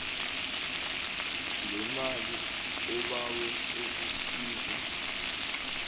lemali obawe ukusizwa